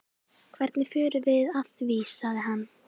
Hvernig förum við að því? sagði hann.